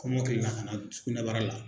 Kɔmɔkili la ka na sugunɛbara la.